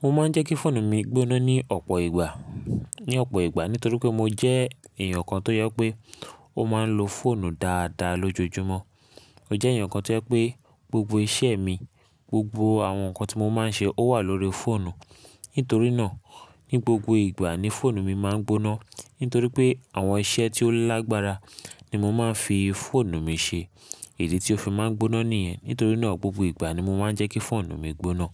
Mo máa ń jẹ́ kí fóònù mi gbóná ní ọ̀pọ̀ ìgbà, ní ọ̀pọ̀ ìgbà nítorí pé mo jẹ́ èèyàn kan tó je pé ó máa ń lo fóònù dáadáa lójoojúmọ́. Mo jẹ́ èèyàn kan tó jẹ́ pé gbogbo iṣẹ́ mi, gbogbo àwọn nǹkan tí mo máa ń ṣe ó wà lórí fóònù. Nítorí náà, ní gbogbo ìgbà ni fóònù mi máa ń gbóná. Nítorí pé àwọn iṣẹ́ tí ó lágbára ni mo máa ń fi fóònù mi ṣe. Idi tí ó fi máa ń gbóná nìyẹn. Nítorí náà gbogbo ìgbà ni mo máa ń jẹ́ kí fóònù mi gbóná.